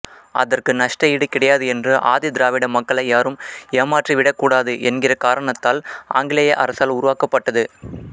அதற்கு நஷ்ட ஈடு கிடையாது என்று ஆதிதிராவிட மக்களை யாரும் ஏமாற்றி விடக்கூடாது என்கிற காரணத்தால் ஆங்கிலேய அரசால் உருவாக்கப்பட்டது